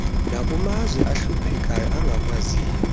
nakumazwe ahluphekayo angakwaziyo